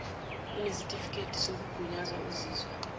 onesitifiketi sokugunyazwa ozizwa